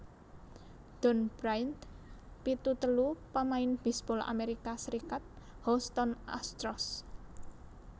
Don Bryant pitu telu pamain bisbol Amerika Serikat Houston Astros